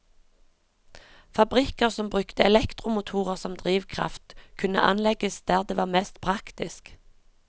Fabrikker som brukte elektromotorer som drivkraft, kunne anlegges der det var mest praktisk.